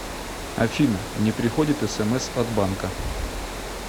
афина не приходят смс от банка